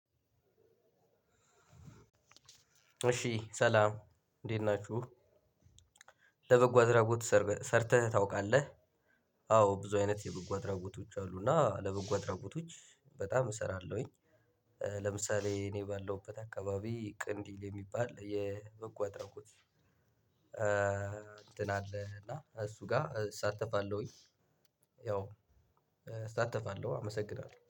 እሺ ሰላም እንዴት ናችሁ ለበጎ አድራጎት ሰርተህ ታውቃለህ? አዎ ብዙ አይነት የበጎ አድራጎቶች አሉ እና ለበጎ አድራጎቶች በጣም እሰራለሁኝ። ለምሳሌ እኔ ባለሁበት አካባቢ ቀንዲል የሚባል የበጎ አድራጎት እንትን አለ። እና እሱ ጋር እሳተፋለሁኝ። ያው እሳተፋለሁ አመሰግናለሁ